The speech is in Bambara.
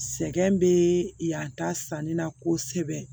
Sɛgɛn bɛ yan ta sanni na kosɛbɛ